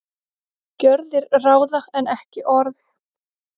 Gjörðir ráða en ekki orð